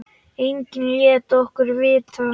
Enginn lét okkur vita.